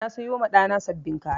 Na sayoma ɗana sabbin kaya